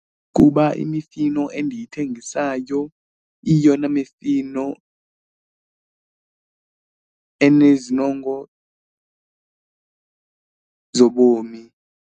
Kuba imifino endiyithengisayo iyiyona mifino enezinongo zobomi.